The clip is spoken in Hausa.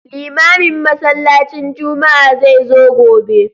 Limamin masallacin juma'a zai zo gobe